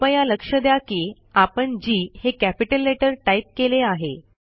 कृपया लक्ष द्या की आपण जी हे कॅपिटल लेटर टाईप केले आहे